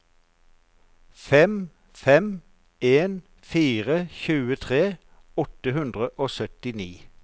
fem fem en fire tjuetre åtte hundre og syttini